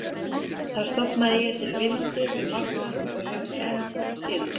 Þar stofnaði ég til vináttu við marga og hefur hún enst síðan.